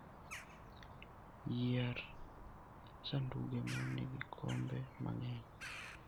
Yier sanduge ma nigi kombe mang'eny.